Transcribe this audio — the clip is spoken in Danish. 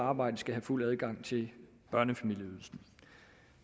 arbejde skal have fuld adgang til børnefamilieydelsen